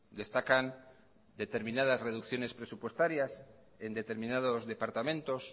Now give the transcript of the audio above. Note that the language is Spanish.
destacan determinadas reducciones presupuestarias en determinados departamentos